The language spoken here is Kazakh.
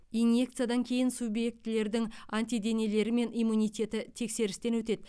инъекциядан кейін субъектілердің антиденелері мен иммунитеті тексерістен өтеді